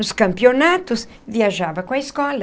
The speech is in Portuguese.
Nos campeonatos, viajava com a escola.